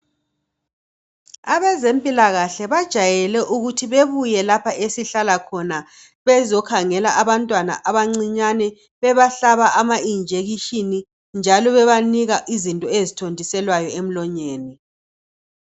Abezempilakahle bajayele ukuthi babuye lapha esihlala khona bezokhangela abantwana abancinyane, bebahlaba ama injection njalo bebanika izinto ezithontiselwa emlonyeni.